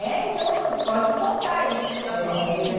é? Então, pode contar isso para nós. É